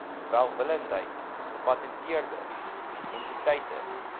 welwillendheid gepatenteerde entiteite